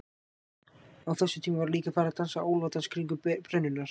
Á þessum tíma var líka farið að dansa álfadans kringum brennurnar.